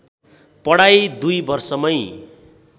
पढाइ दुई वर्षमै